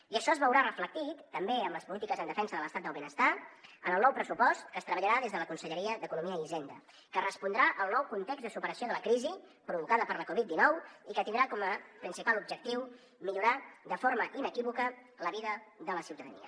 i això es veurà reflectit també en les polítiques en defensa de l’estat del benestar en el nou pressupost que es treballarà des de la conselleria d’economia i hisenda que respondrà al nou context de superació de la crisi provocada per la covid dinou i que tindrà com a principal objectiu millorar de forma inequívoca la vida de la ciutadania